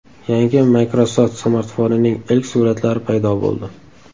Yangi Microsoft smartfonining ilk suratlari paydo bo‘ldi .